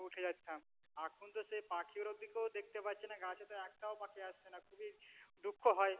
উঠে জাগতাম এখন তো সেই পাখিরও অব্দি কেও দেখতে পাচ্ছিনা, গাছে তো একটাও পাখি আসছেনা, খুবই দুঃখ হয়